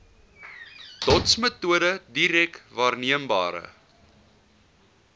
dotsmetode direk waarneembare